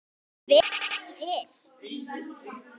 Hver er ekki til?